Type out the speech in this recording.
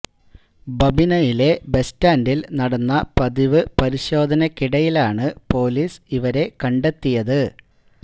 ബബിനയിലെ bus സ്റ്റാന്ഡില് നടന്ന പതിവ് പരിശോധനക്കിടയിലാണ് പോലീസ് ഇവരെ കണ്ടെത്തിയത്